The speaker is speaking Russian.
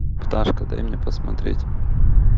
пташка дай мне посмотреть